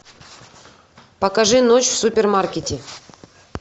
покажи ночь в супермаркете